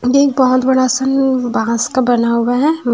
ये एक बहुत बड़ा सा न बाँस का बना हुआ है उम।